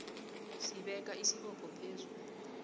sibeka isibopho phezu